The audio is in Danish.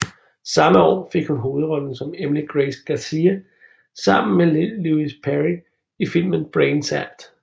Samme år fik hun hovedrollen som Emily Grace Garcia sammen med Lewis Perry i filmen Brain Zapped